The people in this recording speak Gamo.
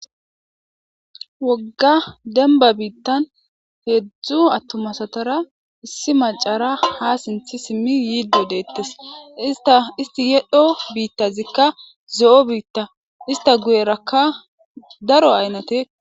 Wogga demba biitan heezu atuma asatara issi macara ha sinthi simi yiido deetes isti yel'o biitizika zo'o biita ista guyeraka daro aynate.